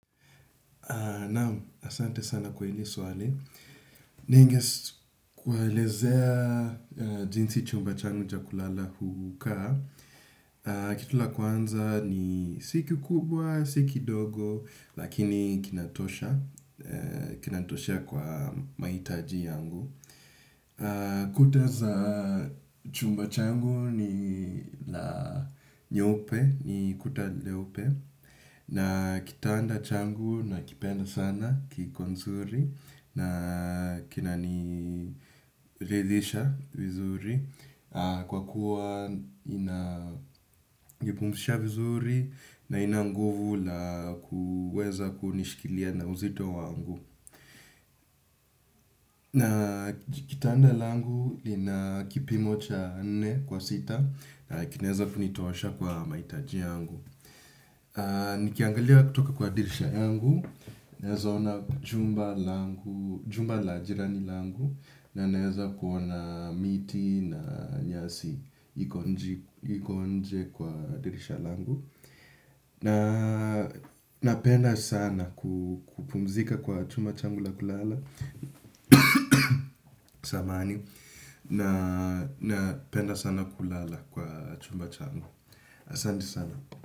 Naam, asante sana kwa hilo swali. Ninge kuwaelezea jinsi chumba changu cha kulala hukaa. Kitu la kwanza ni si kikubwa, si kidogo, lakini kinatosha. Kinatosha kwa mahitaji yangu. Kuta za chumba changu ni la nyeupe, ni kuta nyeupe. Na kitanda changu nakipenda sana kiko nzuri na kinaniridhisha vizuri kwa kuwa inanipumzisha vizuri na ina nguvu la kuweza kunishikilia na uzito wangu na kitanda langu ina kipimo cha nne kwa sita na kinaweza kunitosha kwa mahitaji yangu. Nikiangalia kutoka kwa dirisha yangu naweza ona jumba la jirani langu. Na naweza kuona miti na nyasi iko nje kwa dirisha langu. Napenda sana kupumzika kwa chumba changu la kulala samahani. Napenda sana kulala kwa chumba changu. Asanti sana.